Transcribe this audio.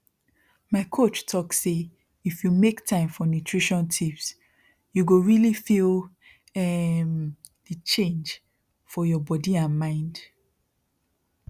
my coach talk sayif you make time for nutrition tips you go really feel um the change for your body and mind